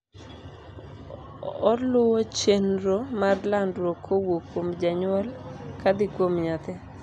oluwo chenro mar landruok kowuok kuom janyuol kadhi kuom nyathi